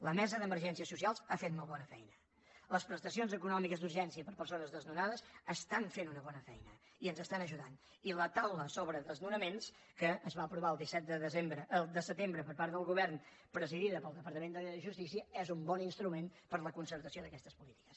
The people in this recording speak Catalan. la mesa d’emergències socials ha fet molt bona feina les prestacions econòmiques d’urgència per a persones desnonades fan una bona feina i ens ajuden i la taula sobre desnonaments que es va aprovar el disset de setembre per part del govern presidida pel departament de justícia és un bon instrument per a la concertació d’aquestes polítiques